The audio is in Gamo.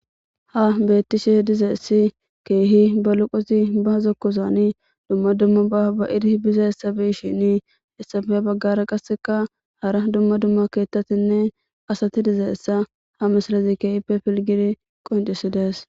ha beettishe dizeessi keehi ba luqosi ba zokkozani dumma dumma ba ba iri biza hessabeyshini hessafe baggara qasseka hara dumma dumma keettatinne asati dizaessa ha mislazi keehipe pilgidi qoinxisidees